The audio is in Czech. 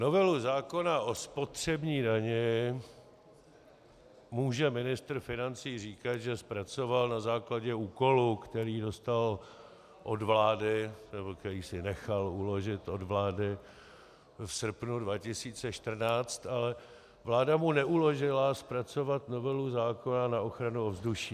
Novelu zákona o spotřební dani může ministr financí říkat, že zpracoval na základě úkolu, který dostal od vlády, nebo který si nechal uložit od vlády, v srpnu 2014, ale vláda mu neuložila zpracovat novelu zákona na ochranu ovzduší.